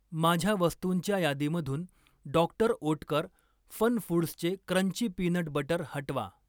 माझ्या वस्तुंच्या यादीमधून डॉ. ओटकर फनफूड्सचे क्रंची पीनट बटर हटवा.